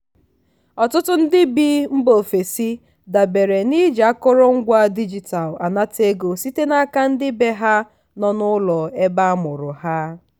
ọtụtụ ndị bi mba ofesi dabere n'iji akụrụ ngwa digital anata ego site n'aka ndị bee ha nọ n'ụlọ ebe amụrụ ha.